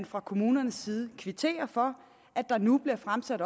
fra kommunernes side kvitterer for at der nu